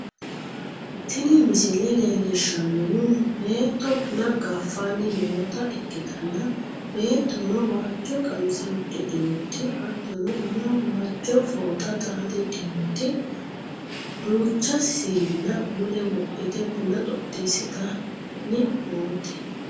tini misile leellishshannohu beetto buna gaffanni noota ikkitanna, beettono waajjo qamise uddidhinoti hattono umoho waajjo fooxa xaaxidhinoti ,duucha siina mule wodhite buna xoxxisitanni noote